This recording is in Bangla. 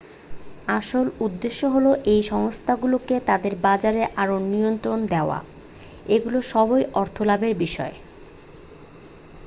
আসল উদ্দেশ্য হল এই সংস্থাগুলোকে তাদের বাজারে আরও নিয়ন্ত্রণ দেওয়া এগুলো সবই অর্থ লাভের বিষয়